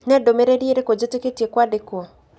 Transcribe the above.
Nĩ ndũmĩrĩri irĩkũ njĩtĩkĩtie kwandĩkwo?